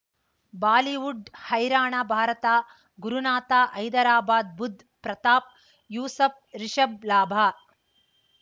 Bollywood ಹೈರಾಣ ಭಾರತ ಗುರುನಾಥ ಹೈದರಾಬಾದ್ ಬುಧ್ ಪ್ರತಾಪ್ ಯೂಸಫ್ ರಿಷಬ್ ಲಾಭ